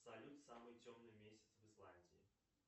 салют самый темный месяц в исландии